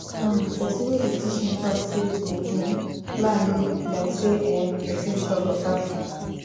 um person wey dey teach me talk say to um plan dey good like say[um]person chop beta food